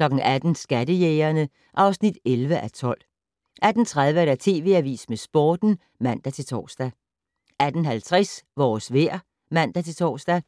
18:00: Skattejægerne (11:12) 18:30: TV Avisen med Sporten (man-tor) 18:50: Vores vejr (man-tor)